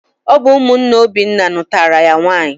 Ọ bụ ụmụnne Obinna nụtara ya nwanyị.